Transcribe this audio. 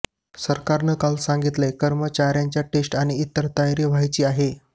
सरकारनं काल सांगितलं कर्मचाऱ्यांच्या टेस्ट आणि इतर तयारी व्हायची आहे